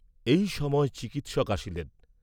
এই সময় চিকিৎসক আসিলেন।